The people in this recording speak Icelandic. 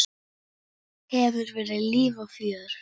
Hefur verið líf og fjör.